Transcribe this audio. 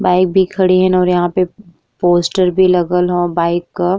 Bike भी खड़ी ह पोस्टर भी लगल ह बाइक क।